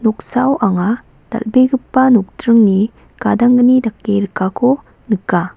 noksao anga dal·begipa nokdringni gadanggni dake rikako nika.